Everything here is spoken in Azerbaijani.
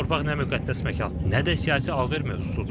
Bu torpaq nə müqəddəs məkan, nə də siyasi alış-veriş mövzusudur.